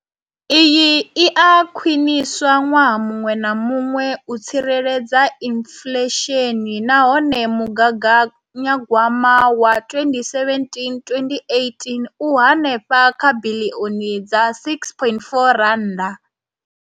Iyi i a khwiniswa ṅwaha muṅwe na muṅwe u tsireledza inflesheni nahone mugaganya gwama wa 2017,18 u henefha kha biḽioni dza R6.4.